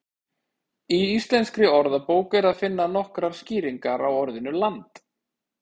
Í Íslenskri orðabók er að finna nokkrar skýringar á orðinu land.